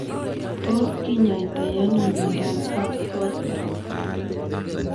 Tos kinyaitoi ano miondap herpes zoster?